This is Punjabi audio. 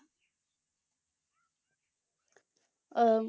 ਅਹ